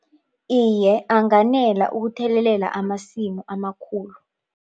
Iye, anganela ukuthelelela amasimu amakhulu.